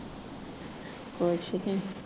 ਕੁੱਛ ਨੀ।